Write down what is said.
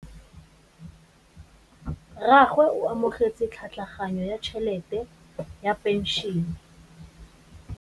Rragwe o amogetse tlhatlhaganyô ya tšhelête ya phenšene.